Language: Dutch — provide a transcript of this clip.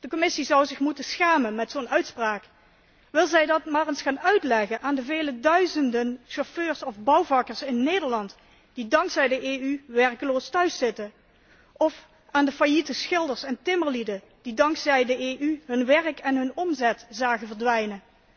De Commissie zou zich moeten schamen over zo'n uitspraak. Wil zij dat maar eens gaan uitleggen aan de vele duizenden chauffeurs of bouwvakkers in Nederland die dankzij de EU werkloos thuis zitten, of aan de failliete schilders en timmerlieden die dankzij de EU hun werk en hun omzet zagen verdwijnen?